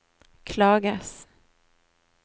klages